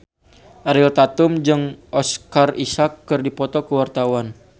Ariel Tatum jeung Oscar Isaac keur dipoto ku wartawan